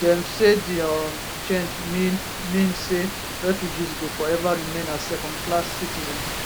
dem say di um change mean mean say refugees go forever remain as second class citizens